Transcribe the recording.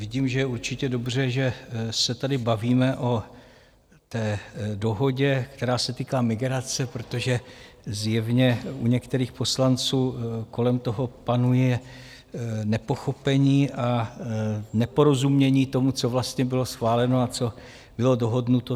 Vidím, že je určitě dobře, že se tady bavíme o té dohodě, která se týká migrace, protože zjevně u některých poslanců kolem toho panuje nepochopení a neporozumění tomu, co vlastně bylo schváleno a co bylo dohodnuto.